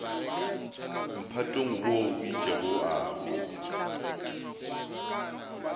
mphatong wo o itpego a